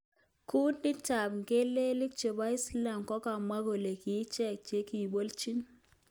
Kundit ap mgelelik chepo Islam kokamwa kole kiicheket chekiipolchin